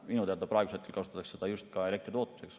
Minu teada kasutatakse praegu seda osaliselt ka elektritootmises.